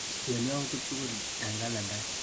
Istee yautik tukul eng kalendait.